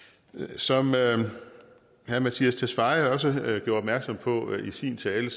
som herre mattias tesfaye også gjorde opmærksom på i sin tale